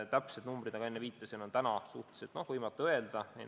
Täpseid numbreid, nagu ma enne viitasin, on suhteliselt võimatu öelda.